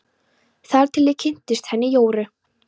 Þar til ég kynntist henni Jóru.